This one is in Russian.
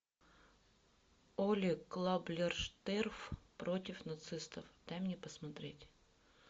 олли клаблерштерф против нацистов дай мне посмотреть